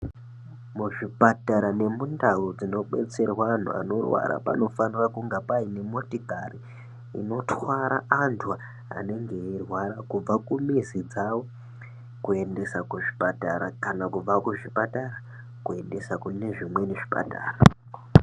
Muzvipatara nemundau dzinodetserwa antu anorwara panofanira kunga pane motikari inotwara antu anenge eyirwara kubva kumizi dzawo kuendesa kuzvipatara kana kubva kuzvipatara kuendesa kunezvimweni zvipatara.